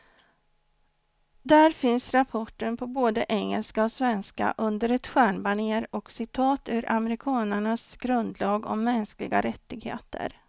Där finns rapporten på både engelska och svenska, under ett stjärnbanér och citat ur amerikanernas grundlag om mänskliga rättigheter.